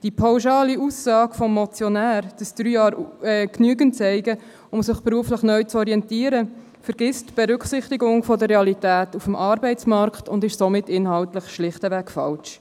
Die pauschale Aussage des Motionärs, drei Jahre seien genügend, um sich beruflich neu zu orientieren, lässt die Berücksichtigung der Realität des Arbeitsmarkts vergessen und ist inhaltlich somit schlicht falsch.